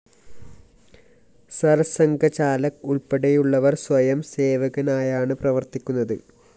സിർ സംഘചാലക് ഉള്‍പ്പടെയുള്ളവര്‍ സ്വയം സേവകനായാണ് പ്രവര്‍ത്തിക്കുന്നത്